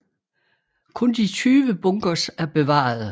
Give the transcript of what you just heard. Kun de 20 bunkers er bevarede